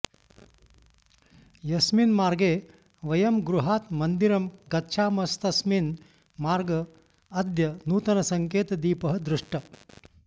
यस्मिन् मार्गे वयं गृहात् मन्दिरं गच्छामस्तस्मिन् मार्ग अद्य नूतनसङ्केतदीपः दृष्टः